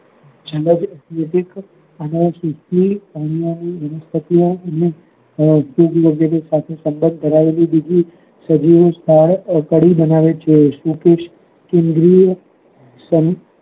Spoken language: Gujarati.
જીવન વીતી અન્ય વનસ્પતિ ઓ સાથે સબંધ ધરાવેલી બીજી સજીવો સ્થારક પરી બનાવે છે યુધિસ્ત કેન્દ્રી ઓ સમ